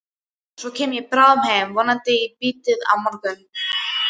Svo kem ég bráðum heim, vonandi í bítið á morgun.